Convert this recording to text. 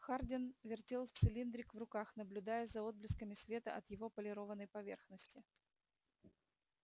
хардин вертел цилиндрик в руках наблюдая за отблесками света от его полированной поверхности